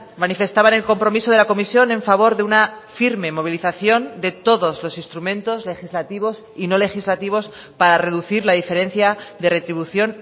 manifestaban el compromiso de la comisión en favor de una firme movilización de todos los instrumentos legislativos y no legislativos para reducir la diferencia de retribución